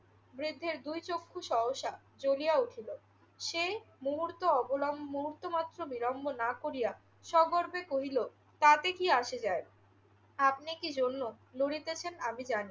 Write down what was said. বৃদ্ধের দুই চক্ষু সহসা জ্বলিয়া উঠিল। সে মুহূর্ত অবলম্ব~ মুহূর্ত মাত্র বিলম্ব না করিয়া সগর্বে কহিল, তাতে কি আসে যায়। আপনি কি জন্য লড়িতেছেন আমি জানি।